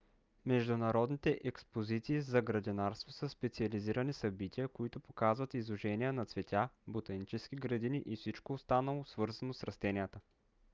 международните експозиции за градинарство са специализирани събития които показват изложения на цветя ботанически градини и всичко останало свързано с растенията